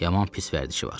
Yaman pis vərdişi var.